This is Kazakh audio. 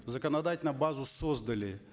законодательно базу создали